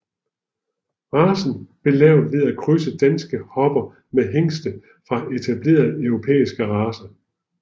Racen blev lavet ved at krydse danske hopper med hingste fra etablerede europæiske racer